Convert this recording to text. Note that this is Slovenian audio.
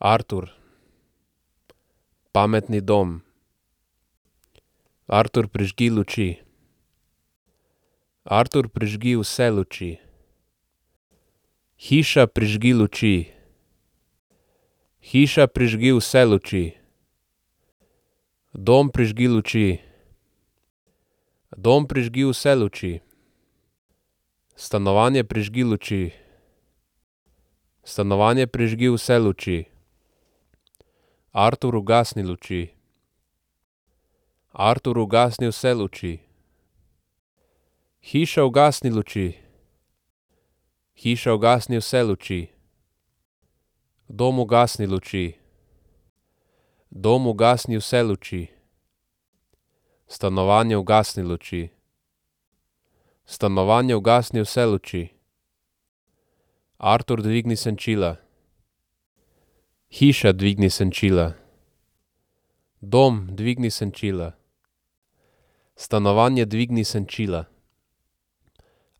Artur. Pametni dom. Artur, prižgi luči. Artur, prižgi vse luči. Hiša, prižgi luči. Hiša, prižgi vse luči. Dom, prižgi luči. Dom, prižgi vse luči. Stanovanje, prižgi luči. Stanovanje, prižgi vse luči. Artur, ugasni luči. Artur, ugasni vse luči. Hiša, ugasni luči. Hiša, ugasni vse luči. Dom, ugasni luči. Dom, ugasni vse luči. Stanovanje, ugasni luči. Stanovanje, ugasni vse luči. Artur, dvigni senčila. Hiša, dvigni senčila. Dom, dvigni senčila. Stanovanje, dvigni senčila.